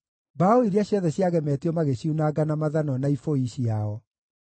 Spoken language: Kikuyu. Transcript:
Mbaũ iria ciothe ciagemetio magĩciunanga na mathanwa na ibũi ciao.